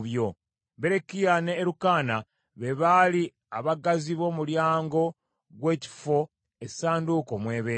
Berekiya ne Erukaana be baali abaggazi b’omulyango gw’ekifo essanduuko mw’ebeera.